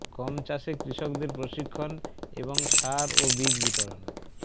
গম চাষে কৃষকদের প্রশিক্ষণ এবং সার ও বীজ বিতরণ